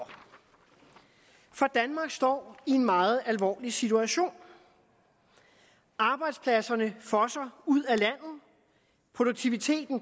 danmark står i en meget alvorlig situation arbejdspladserne fosser ud af landet produktiviteten